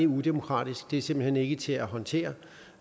udemokratisk det er simpelt hen ikke til at håndtere